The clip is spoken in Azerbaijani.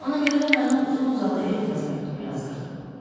Ona görə də mənə uzun-uzadı etiraz məktubu yazdırdı.